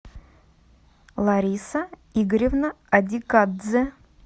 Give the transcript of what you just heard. лариса игоревна адикадзе